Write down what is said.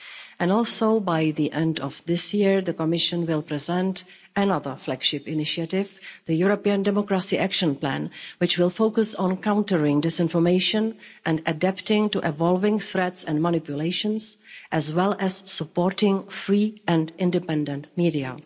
And also by the end of this year, the Commission will present another flagship initiative the European Democracy Action Plan which will focus on countering disinformation and adapting to evolving threats and manipulations, as well as supporting free and independent media.